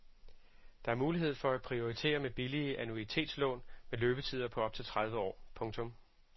Der er mulighed for at prioritere med billige annuitetslån med løbetider på op til tredive år. punktum